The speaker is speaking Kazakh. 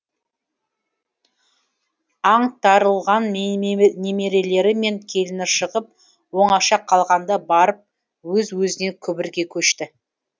аңтарылған немерелері мен келіні шығып оңаша қалғанда барып өз өзінен күбірге көшті